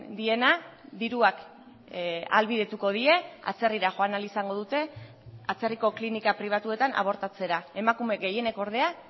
diena diruak ahalbidetuko die atzerrira joan ahal izango dute atzerriko klinika pribatuetan abortatzera emakume gehienek ordea